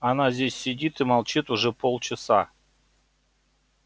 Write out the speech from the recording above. она здесь сидит и молчит уже полчаса